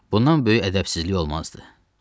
Bundan böyük ədəbsizlik olmazdı.